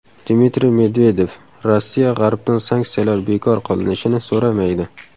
Dmitriy Medvedev: Rossiya G‘arbdan sanksiyalar bekor qilinishini so‘ramaydi.